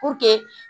Puruke